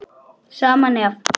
Sama nefið.